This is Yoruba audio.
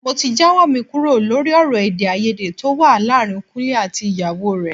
Mo ti jáwọ́ mi kúrò lórí ọ̀rọ̀ èdè-áiyedé tó wà láàárín Kúnlé àti ìyàwó rẹ̀.